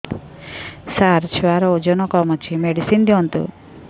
ସାର ଛୁଆର ଓଜନ କମ ଅଛି ମେଡିସିନ ଦିଅନ୍ତୁ